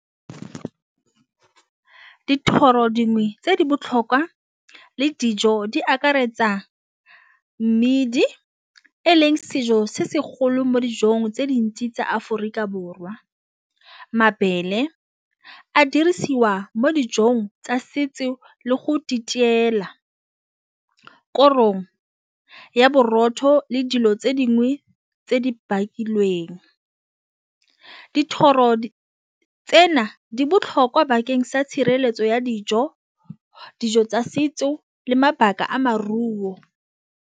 Ke dithoro dingwe tse di botlhokwa le dijo di akaretsa mmidi eleng sejo se segolo mo dijong tse dintsi tsa Aforika Borwa, mabele a dirisiwa mo dijong tsa setso le go . Korong ya borotho le dilo tse dingwe tse di bakilweng dithoro tsena di botlhokwa bakeng sa tshireletso ya dijo, dijo tsa setso le mabaka a maruo.